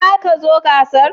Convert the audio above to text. Za ka zo gasar?